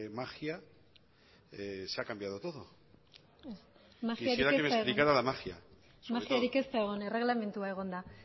magia se ha cambiado todo quisiera que explicara la magia magiarik ez da egon erreglamendua egon da